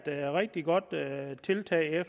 rigtig godt tiltag